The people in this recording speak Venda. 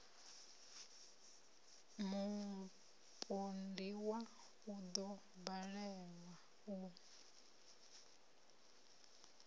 mupondiwa u ḓo balelwa u